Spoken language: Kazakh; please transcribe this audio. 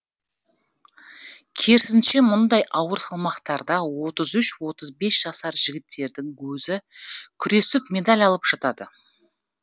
керісінше мұндай ауыр салмақтарда отыз үш отыз бес жасар жігіттердің өзі күресіп медаль алып жатады